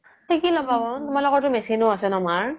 শিখি ল্'বাও তোমালোকৰতো machine ও আছে ন মাৰ